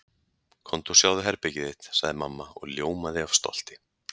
Komdu og sjáðu herbergið þitt sagði mamma og ljómaði af stolti.